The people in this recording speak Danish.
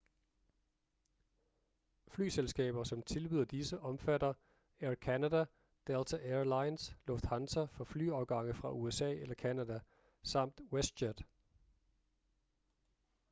flyselskaber som tilbyder disse omfatter air canada delta air lines lufthansa for flyafgange fra usa eller canada samt westjet